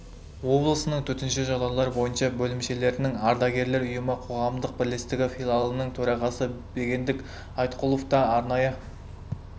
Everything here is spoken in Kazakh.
облысының төтенше жағдайлар бойынша бөлімшелерінің ардагерлер ұйымы қоғамдық бірлестігі филиалының төрағасы бегендік айтқұлов та арнайы